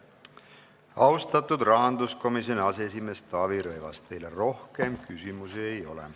Austatud rahanduskomisjoni aseesimees Taavi Rõivas, teile rohkem küsimusi ei ole.